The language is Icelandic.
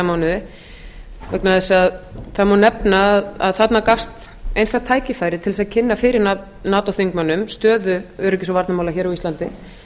mánuði vegna þess að það má nefna að þarna gafst einstakt tækifæri til að kynna fyrir nato þingmönnum stöðu öryggis og varnarmála hér á íslandi